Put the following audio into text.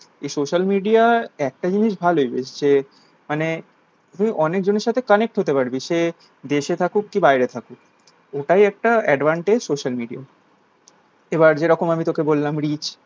এই social media র একটা জিনিস ভালো বেশ যে মানে তুই অনেক জনের সাথে connect হতে পারবি সে দেশে থাকুক বা বাইরে থাকুক ওটাই একটা advantage social media র এবার যেরকম আমি তোকে বললাম reach